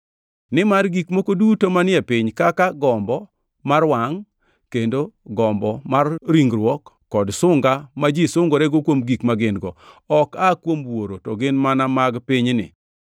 Nimar gik moko duto manie piny, kaka gombo mar wangʼ kendo gombo mar ringruok kod sunga ma ji sungorego kuom gik ma gin-go, ok aa kuom Wuoro, to gin mana mag pinyni.